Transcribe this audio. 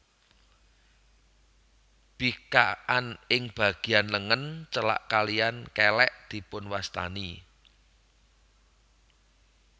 Bikakan ing bagéyan lengen celak kalihan kèlèk dipunwastani